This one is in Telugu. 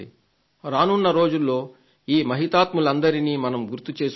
రానున్న రోజుల్లో ఈ మహాత్ములందరినీ మనం గుర్తు చేసుకుందాం